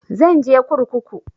Zan je kurkuku